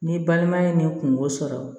N'i balima ye nin kungo sɔrɔ